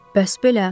Bəs belə.